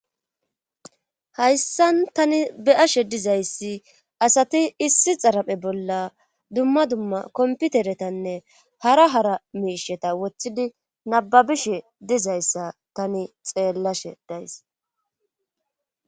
Hayssan tani be7ashe dizayssi asati issi xaraphe bolla dumma dumma komputeretanne hara hara miisheta wothidi nababishe dizayssa tani xeellashe days.